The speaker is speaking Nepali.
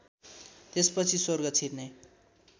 त्यसपछि स्वर्ग छिर्ने